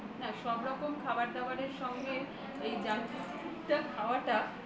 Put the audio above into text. না সব রকম খাবার-দাবারের সঙ্গে এই junk food টা খাওয়াটা